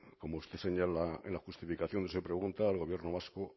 como usted señala en la justificación donde se pregunta el gobierno vasco